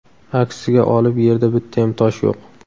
Aksiga olib yerda bittayam tosh yo‘q.